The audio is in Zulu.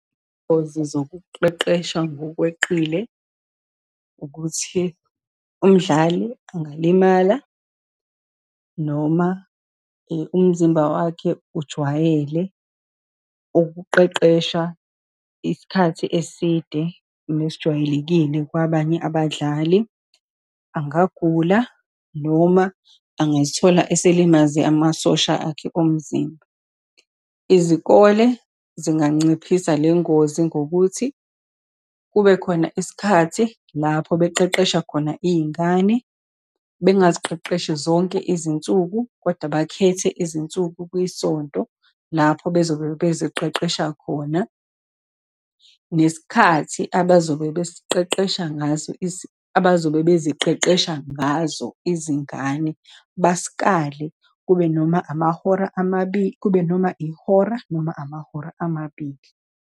Ingozi zokuqeqesha ngokweqile, ukuthi umdlali angilimala, noma umzimba wakhe ujwayele ukuqeqesha isikhathi eside nesijwayelekile kwabanye abadlali, angagula, noma angizithola esilimaze amasosha akhe omzimba. Izikole zinganciphisa le ngozi ngokuthi kube khona isikhathi lapho beqeqesha khona iy'ngane, bengaziqeqeshi zonke izinsuku kodwa bakhethe izinsuku kwisonto lapho bezobe beziqeqesha khona, nesikhathi abazobe besiqeqesha ngaso, abazobe beziqeqesha ngazo izingane. Basikale, kube noma amahora amabi, kube noma ihora, noma amahora amabili.